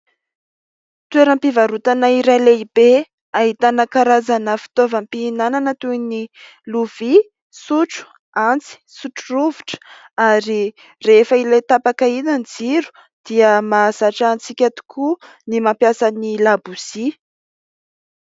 Toeram-pivarotana iray lehibe, ahitana karazana fitaovam-pihinanana toy ny lovia, antsy, sotro rovitra. Ary rehefa ilay tapaka iny ny jiro, dia mahazatra antsika tokoa ny mampiasa ny labozia.